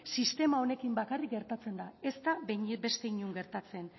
sistema honekin bakarrik gertatzen da ez da beste inon gertatzen